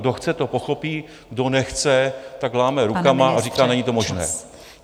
Kdo chce, to pochopí, kdo nechce, tak láme rukama a říká: Není to možné.